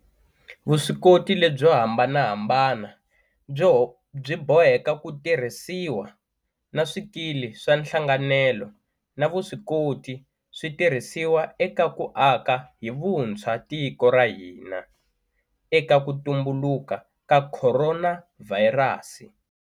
Vuswikoti lebyo hambanahambana byi boheka ku tirhisiwa, na swikili swa nhlanganelo na vuswikoti swi tirhisiwa eka ku aka hi vuntshwa tiko ra hina eka ku tumbuluka ka khoronavhayirasi.